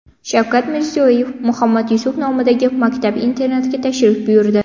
Shavkat Mirziyoyev Muhammad Yusuf nomidagi maktab-internatga tashrif buyurdi.